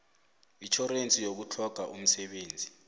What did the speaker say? itjhorense yokutlhoga umsebenzi